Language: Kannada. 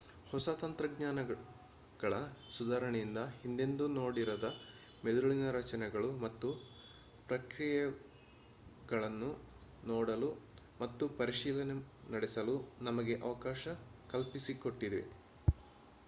ಹೊಸ ತಂತ್ರಜ್ಞಾನಗಳ ಸುಧಾರಣೆಯಿಂದಾಗಿ ಹಿಂದೆಂದೂ ನೋಡಿರದ ಮೆದುಳಿನ ರಚನೆಗಳು ಮತ್ತು ಪ್ರಕ್ರಿಯೆಗಳನ್ನು ನೋಡಲು ಮತ್ತು ಪರಿಶೀಲನೆ ನಡೆಸಲು ನಮಗೆ ಅವಕಾಶ ಕಲ್ಪಿಸಿಕೊಟ್ಟಿವೆ